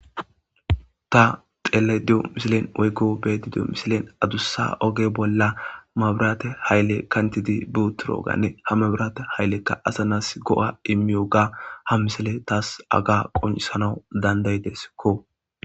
ta xeele deyo misilen oygo beedi diyo misilen adussa oge bolla mabirate haylle kantidi buturo ganne ha mabirate hayllekka asa nas go7a immiyoga ha misile taas aga qonisanawu dandayideskko